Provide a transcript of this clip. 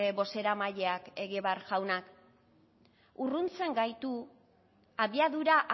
bozeramaileak egibar jaunak urruntzen gaitu abiadura